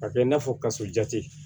Ka kɛ i n'a fɔ kasojate